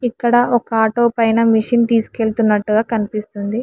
ఇక్కడ ఒక ఆటో పైన మిషిన్ తీస్కుయేళ్తునట్టు కనిపిస్తుంది.